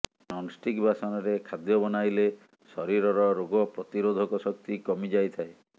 non-stick ବାସନରେ ଖାଦ୍ୟ ବନାଇଲେ ଶରୀରର ରୋଗପ୍ରତିରୋଧକ ଶକ୍ତି କମିଯାଇଥାଏ